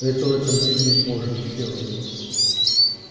этого-то мы и не можем сделать